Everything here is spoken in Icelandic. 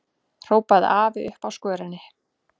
hrópaði afi uppi á skörinni.